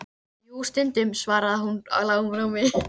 Jú, stundum, svaraði hún í lágum rómi.